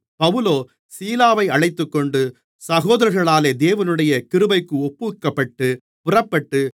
பவுலோ சீலாவை அழைத்துக்கொண்டு சகோதரர்களாலே தேவனுடைய கிருபைக்கு ஒப்புவிக்கப்பட்டு புறப்பட்டு